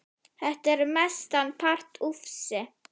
Þetta er mestan part ufsi